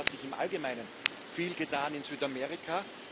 es hat sich im Allgemeinen viel getan in Südamerika.